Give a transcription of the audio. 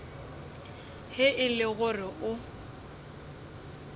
ge e le gore o